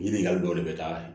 Ɲininkali dɔw de bɛ taa